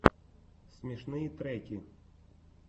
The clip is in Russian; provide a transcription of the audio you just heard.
смешные треки